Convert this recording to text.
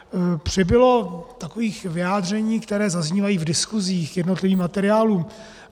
Přibylo takových vyjádření, která zaznívají v diskuzích k jednotlivým materiálům.